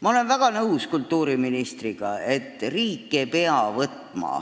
Ma olen väga nõus kultuuriministriga, et riik ei pea võtma